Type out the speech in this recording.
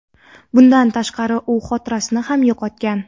Bundan tashqari, u xotirasini ham yo‘qotgan.